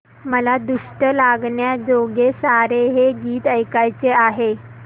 मला दृष्ट लागण्याजोगे सारे हे गीत ऐकायचे आहे